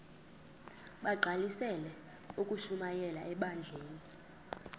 bagqalisele ukushumayela ebandleni